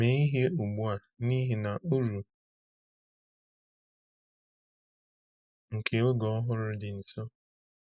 Mee ihe ugbu a, n’ihi na uru nke oge ọhụrụ dị nso!